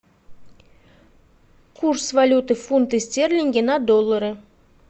курс валюты фунты стерлинги на доллары